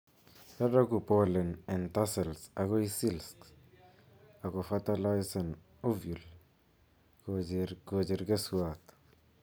Roroku pollen en tassels akoi silks, akofertilisen ovule koocher keswoot